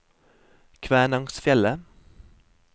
Kvænangsfjellet